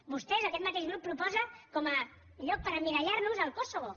vostès aquest mateix grup proposa com a lloc per emmirallar nos el kosovo